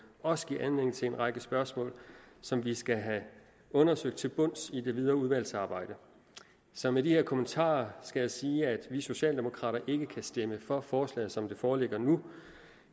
også giver anledning til en række spørgsmål som vi skal have undersøgt til bunds i det videre udvalgsarbejde så med de her kommentarer skal jeg sige at vi socialdemokrater ikke kan stemme for forslaget som det foreligger nu